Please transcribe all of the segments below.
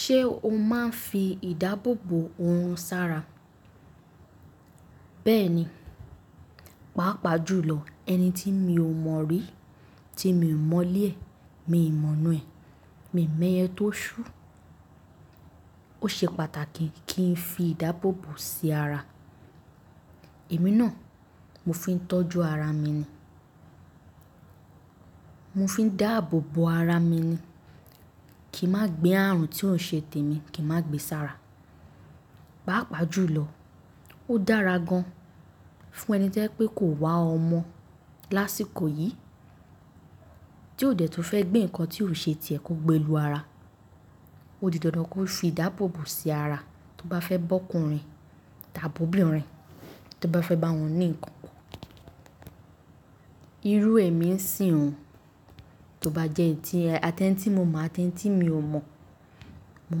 Ṣé o máa ń fi ìdáàbòbò oorun sára? Bẹ́ẹ̀ni, pàápàá jùlọ ẹni tí mi ò mọ̀ rí, tí mi ò mọ̀lé e, mi n mọ̀na ẹ̀, mi ò mọ ẹyẹ tó sú, ó ṣe pàtàkì kí n fi ìdáàbòbò sí ara. Èmi náà mo fi ń tọ́jú ara mi ni. Mo fi ń dáàbòbò ara mi ni. Kì n má gbé ààrùn tí ò ṣe tèmi, kì má gbe sára. Pàápàá jùlọ, ó dára gan fún ẹni tó jẹ́ pé kò wá ọmọ lásìkò yìí, tí ó dẹ̀ tún fẹ́ gbé ǹnkan tí ò ṣe tiẹ́ kó gbe lu ara. Ó di dandan kó fi ìdáàbòbò sí ara, tó bá fẹ́ bá ọkùnrin tàbí ọ̀bínrin, tó bá fẹ́ bá wọn ní ǹnkan po. Irú èmi ń sìn o, tó bá jẹ́ en ti--ati en tí mo mọ̀ àti en tí mi ò mọ̀, mo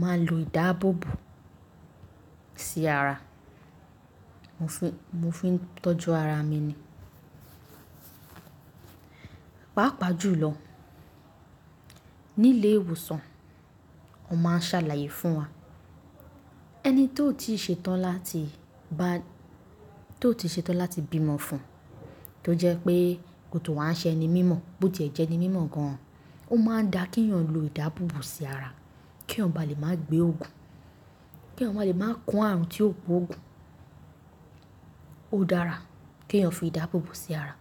máa lo ìdáàbòbò sí ara. Mo fi ń tọ́jú ara mi ni. Pàápàá jùlọ, nílé ìwòsàn, wọn máa ń ṣàlàyé fún wa. Ẹni tó ti ṣe tán láti bá-- tó ti ṣe tán láti bímọ fún, tó jẹ́ pé kò tún wá ṣe ẹni mímọ̀, bó ti ẹ̀ jẹ́ ẹni mímọ̀ gan, ó máa da kíyàn lo ìdáàbòbò sí ara, kí èèyàn bá lè má gbé oògùn, kí èèyàn máa lè máa kó ààrùn tí ó gbọ̀ òògùn. Ó dára kíyàn fi ìdáàbòbò sí ara.